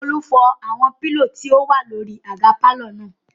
Olú fọ́ àwọn pílò tí ó wà lórí àga pàlọ́ náà